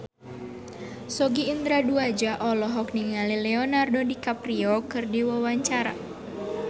Sogi Indra Duaja olohok ningali Leonardo DiCaprio keur diwawancara